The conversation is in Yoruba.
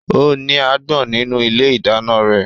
Ó ní àgbọn nínú ilé ìdáná rẹ̀